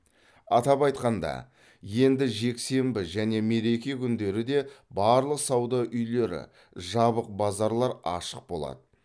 атап айтқанда енді жексенбі және мереке күндері де барлық сауда үйлері жабық базарлар ашық болады